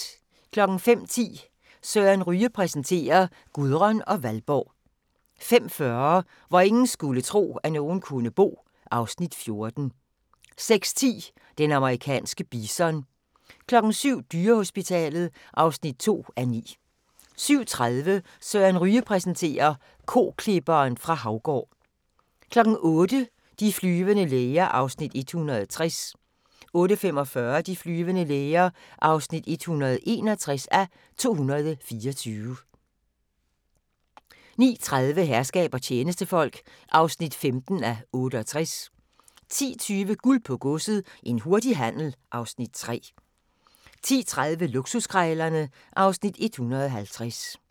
05:10: Søren Ryge præsenterer: Gudrun og Valborg 05:40: Hvor ingen skulle tro, at nogen kunne bo (Afs. 14) 06:10: Den amerikanske bison 07:00: Dyrehospitalet (2:9) 07:30: Søren Ryge præsenterer: Koklipperen fra Haugård 08:00: De flyvende læger (160:224) 08:45: De flyvende læger (161:224) 09:30: Herskab og tjenestefolk (15:68) 10:20: Guld på Godset – en hurtig handel (Afs. 3) 10:30: Luksuskrejlerne (Afs. 150)